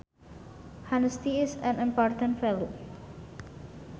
Honesty is an important value